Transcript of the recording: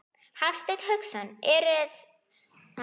Hafsteinn Hauksson: Eruði á nýjum snjóþotum?